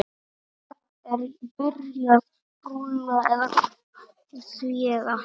Er byrjað rúlla því eða?